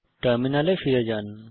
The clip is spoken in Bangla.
টার্মিনালে ফিরে যান